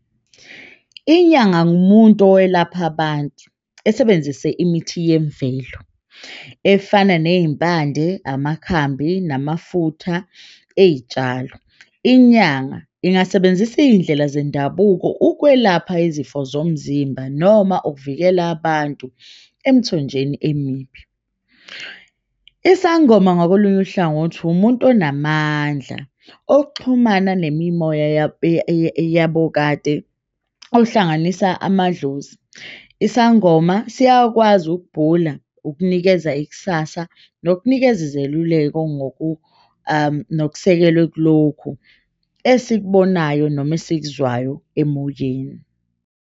Inyanga umuntu owelaphaya abantu, esebenzise imithi yemvelo efana neyimpande, amakhambi namafutha eyitshalo. Inyanga ingasebenzisa iy'ndlela zendabuko, ukwelapha izifo zomzimba noma ukuvikela abantu emthonjeni emibi. Isangoma ngakolunye uhlangothi umuntu onamandla, okuxhumana nemimoya eyabo kade ohlanganisa amadlozi. Isangoma siyakwazi ukubhula, ukunikeza ikusasa nokunikeza izeluleko nokusekelwe kulokhu esikubonayo noma esikuzwayo emoyeni.